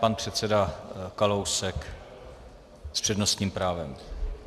Pan předseda Kalousek s přednostním právem.